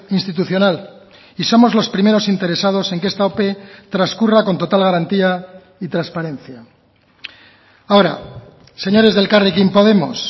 institucional y somos los primeros interesados en que esta ope transcurra con total garantía y transparencia ahora señores de elkarrekin podemos